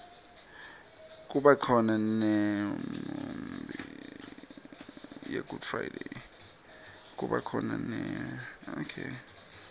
kubakhona nemiunbi yegood friday